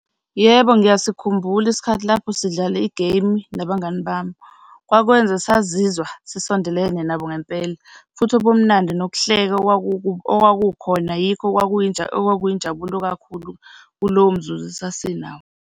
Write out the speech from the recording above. Yebo, ngiyasikhumbula isikhathi lapho sidlala igeyimu nabangani bami, kwakwenza sazizwa sisondelene nabo ngempela, futhi ubumnandi nokuhleka okwakukhona yikho okwakuyinjabulo kakhulu kulowomzuzu esasinawo.